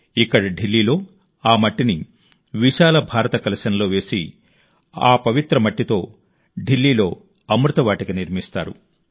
ఇక్కడ ఢిల్లీలో ఆ మట్టిని విశాల భారత కలశంలో వేసి ఈ పవిత్ర మట్టితో ఢిల్లీలో అమృత వాటిక నిర్మిస్తారు